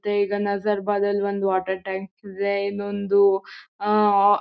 ತ್ತೆ ಈಗ ನಜರ್ಬಾದ್ ಅಲ್ ಒಂದ್ ವಾಟರ್ ಟ್ಯಾಂಕ್ ಇದೆ ಇನ್ನೊಂದೂ ಆ--